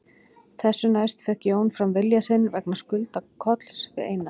Þessu næst fékk Jón fram vilja sinn vegna skulda Kolls við Einar